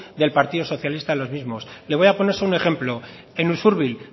del partido socialista en los mismos le voy a poner solo un ejemplo en ursubil